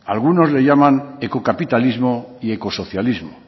algunos le llaman ecocapitalismo y ecosocialismo